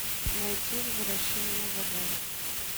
найти возвращение в эдем